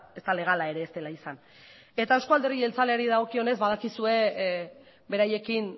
ez da legala ere ez dela izan eta eusko alderdi jeltzaleari dagokionez badakizue beraiekin